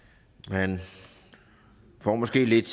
man får måske lidt